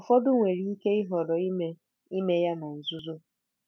Ụfọdụ nwere ike ịhọrọ ime ime ya na nzuzo.